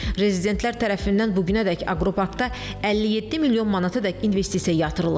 Rezidentlər tərəfindən bu günədək aqroparkda 57 milyon manatadək investisiya yatırılıb.